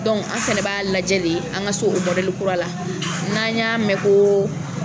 an fana b'a lajɛ le an ka so o kura la n'an y'a mɛn ko